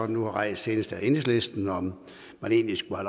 nu rejst senest af enhedslisten om man egentlig skulle